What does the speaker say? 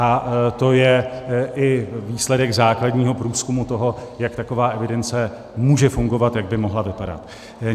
A to je i výsledek základního průzkumu toho, jak taková evidence může fungovat, jak by mohla vypadat.